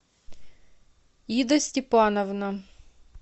ида степановна